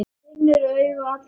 Finnur augu allra á sér.